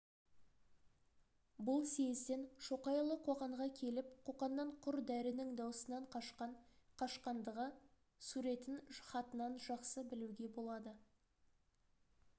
бұл съезден шоқайұлы қоқанға келіп қоқаннан құр дәрінің дауысынан қашқан қашқандағы суретін хатынан жақсы білуге болады